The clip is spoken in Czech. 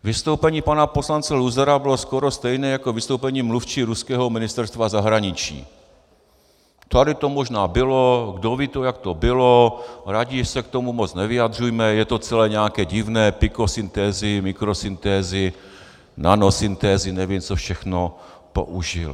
Vystoupení pana poslance Luzara bylo skoro stejné jako vystoupení mluvčí ruského Ministerstva zahraničí: Tady to možná bylo, kdo ví, jak to bylo, raději se k tomu moc nevyjadřujme, je to celé nějaké divné, pikosyntézy, mikrosyntézy, nanosyntézy, nevím, co všechno použil.